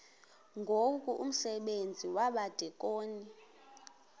ngoku umsebenzi wabadikoni